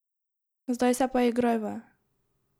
Zdaj se pa igrajva!